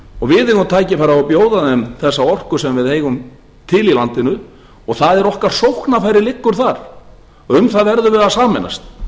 og við eigum tækifæri til að bjóða þeim þessa orku sem við eigum til í landinu og okkar sóknarfæri liggja þar og um það verðum við að sameinast